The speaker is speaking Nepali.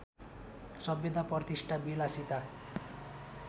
सभ्यता प्रतिष्ठा विलासिता